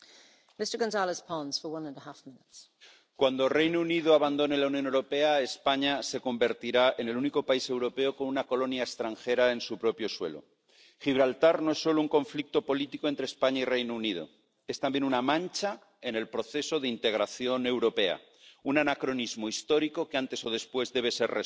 Señora presidenta, cuando el Reino Unido abandone la Unión Europea, España se convertirá en el único país europeo con una colonia extranjera en su propio suelo. Gibraltar no es solo un conflicto político entre España y el Reino Unido, es también una mancha en el proceso de integración europea, un anacronismo histórico que antes o después debe ser resuelto.